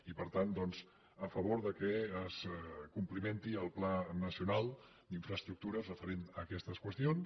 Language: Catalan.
i per tant doncs a favor que es complimenti el pla nacional d’infraestructures referent a aquestes qüestions